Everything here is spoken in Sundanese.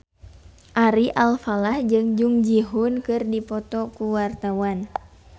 Ari Alfalah jeung Jung Ji Hoon keur dipoto ku wartawan